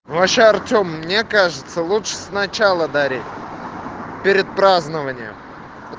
вообще артем мне кажется лучше сначала дари перед празднованием